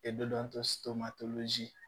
E be